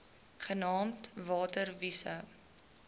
genaamd water wise